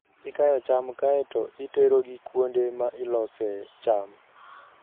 Ikayo cham kae to iterogi kuonde ma ilosee cham.